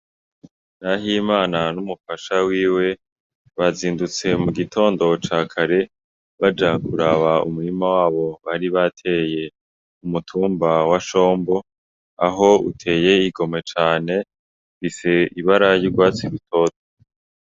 Nahimana n'umufasha wiwe bazindutse mu gitondo ca kare baja kuraba umurima wabo bari bateye mu mutumba wa shombo aho uteye igomwe cane, ufise ibara y'urwatsi rutoto.